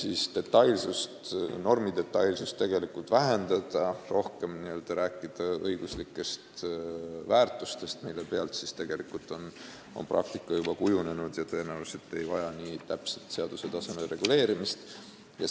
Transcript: Seda tüüpi normidetailsust tuleks vähendada ja rohkem rääkida õiguslikest väärtustest, mille põhjal tegelikult on praktika juba välja kujunenud ja tõenäoliselt ei vaja see nii täpset seaduse tasemel reguleerimist.